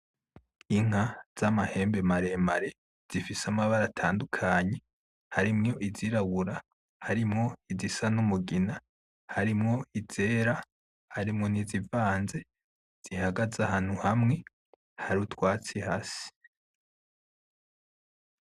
Inka z' amahembe maremare zifise amabara atandukanye harimwo izirabura harimwo izisa n' umugina harimwo izera harimwo n' izivanze, zihagaze ahantu hamwe harutwatsi hasi.